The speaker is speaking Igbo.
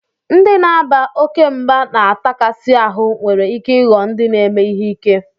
Ndị na-aba oke mba na atakasi ahu nwere ike ịghọ ndị na-eme ihe ike